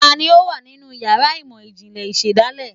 Taní o wa ninú ìyára imọ ijinlẹ ìsedálẹ?